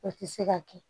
O tɛ se ka kɛ